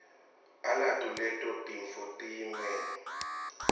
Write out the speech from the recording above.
alato leto tintfo tiyimuelo